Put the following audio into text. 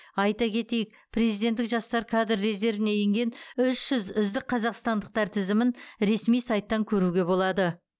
айта кетейік президенттік жастар кадр резервіне енген үш жүз үздік қазақстандықтар тізімін ресми сайттан көруге болады